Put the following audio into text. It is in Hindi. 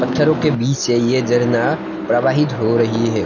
पत्थरों के बीच है ये झरना प्रवाहित हो रही है।